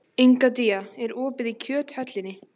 Egedía, er opið í Kjöthöllinni?